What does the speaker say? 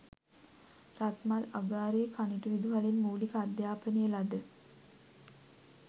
රත්මල්අගාරේ කනිටු විදුහලෙන් මූලික අධ්‍යාපනය ලද